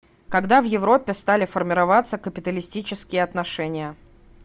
когда в европе стали формироваться капиталистические отношения